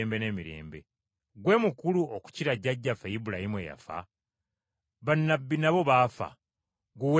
Ggwe mukulu okukira jjajjaffe Ibulayimu eyafa? Bannabbi nabo baafa. Ggwe weeyita ani?”